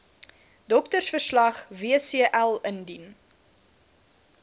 doktersverslag wcl indien